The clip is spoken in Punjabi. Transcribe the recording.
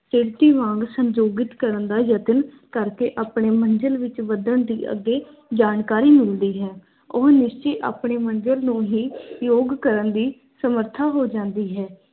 ਕਿਰਤੀ ਵਾਂਗ ਸੰਜੋਗਿਤ ਕਰਨ ਦਾ ਯਤਨ ਕਰਕੇ ਆਪਣੇ ਮੰਜਿਲ ਵਿੱਚ ਵਧਣ ਦੀ ਅੱਗੇ ਜਾਣਕਾਰੀ ਮਿਲਦੀ ਹੈ। ਉਹ ਨਿਸ਼ਚੇ ਆਪਣੇ ਮੰਜਿਲ ਨੂੰ ਹੀ ਯੋਗ ਕਰਨ ਦੀ ਸਮਰੱਥਾ ਹੋ ਜਾਂਦੀ ਹੈ।